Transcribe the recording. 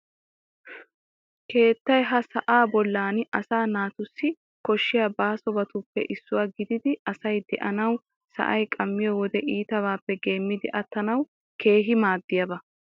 Keettay ha sa'aa bollan asaa naatussi koshshiya baasobatuppe issuwa gididi asay de'anawu sa'ay qammiyo wodee iitabaappe geemmidi attanawu keehi maaddiyaba.